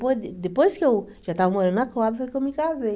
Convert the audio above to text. Depois que eu já estava morando na Coab, foi que eu me casei.